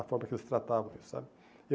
A forma que eles tratavam isso, sabe?